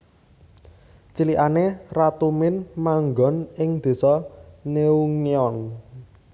Cilikane Ratu Min manggon ing Désa Neunghyeon